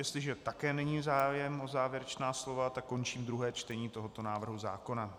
Jestliže také není zájem o závěrečná slova, tak končím druhé čtení tohoto návrhu zákona.